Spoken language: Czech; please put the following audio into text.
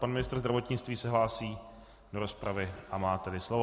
Pan ministr zdravotnictví se hlásí do rozpravy, a má tedy slovo.